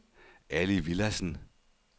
Ali Villadsen